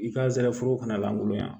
I ka zana foro kɔnɔ lgoloya